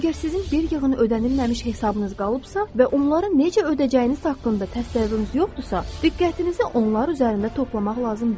Əgər sizin bir yığın ödənilməmiş hesabınız qalıbsa və onları necə ödəyəcəyiniz haqqında təsəvvürünüz yoxdursa, diqqətinizi onlar üzərində toplamaq lazım deyil.